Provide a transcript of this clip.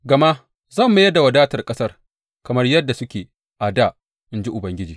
Gama zan mayar da wadatar ƙasar kamar yadda suke a dā,’ in ji Ubangiji.